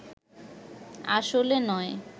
আসলে নয়